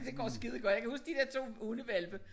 Det går skidegodt jeg kan huske de der 2 hundehvalpe